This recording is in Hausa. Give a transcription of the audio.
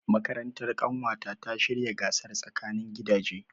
Makarantar ƙanwata ta shirya gasar tsakanin gidaje.